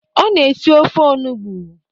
Ọ na esi ofe onugbo.